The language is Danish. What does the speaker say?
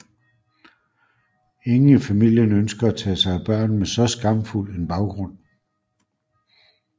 Ingen i familien ønsker at tage sig af børn med så skamfuld en baggrund